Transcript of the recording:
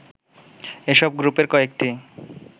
এসব গ্রুপের কয়েকটি